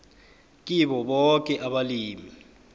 kibo boke abalimi